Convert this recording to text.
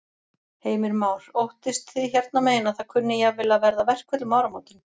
Heimir Már: Óttist þið hérna megin að það kunni jafnvel að verða verkföll um áramótin?